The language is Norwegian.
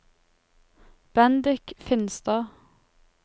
Bendik Finstad